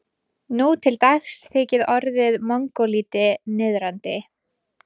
Nú til dags þykir orðið mongólíti niðrandi.